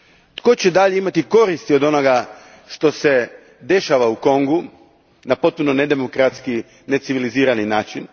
Tko će dalje imati koristi od onoga što se dešava u Kongu na potpuno nedemokratski, necivilizirani način?